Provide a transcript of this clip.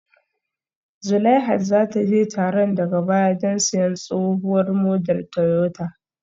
Zulaihat za ta je taron daga baya don siyan tsohuwar model Toyota